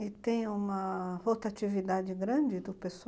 E tem uma rotatividade grande do pessoal?